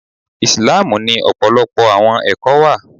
Islamu ni ọpọlọpọ àwọn ẹkọ ìwà.